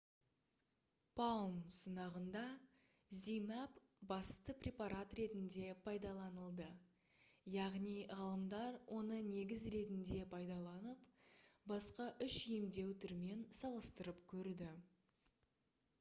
palm сынағында zmapp басты препарат ретінде пайдаланылды яғни ғалымдар оны негіз ретінде пайдаланып басқа үш емдеу түрімен салыстырып көрді